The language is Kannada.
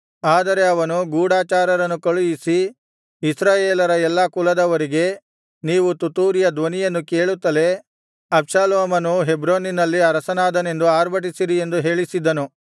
ಆದರೆ ಅವನು ಗೂಢಚಾರರನ್ನು ಕಳುಹಿಸಿ ಇಸ್ರಾಯೇಲರ ಎಲ್ಲಾ ಕುಲದವರಿಗೆ ನೀವು ತುತ್ತೂರಿಯ ಧ್ವನಿಯನ್ನು ಕೇಳುತ್ತಲೇ ಅಬ್ಷಾಲೋಮನು ಹೆಬ್ರೋನಿನಲ್ಲಿ ಅರಸನಾದನೆಂದು ಅರ್ಭಟಿಸಿರಿ ಎಂದು ಹೇಳಿಸಿದ್ದನು